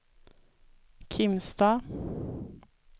Kimstad